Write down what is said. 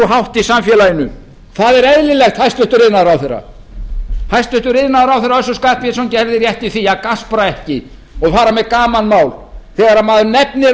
í samfélaginu það er eðlilegt hæstvirtur iðnaðarráðherra hæstvirtur iðnaðarráðherra össur skarphéðinsson gerði rétt í því að gaspra ekki og fara með gamanmál þegar maður nefnir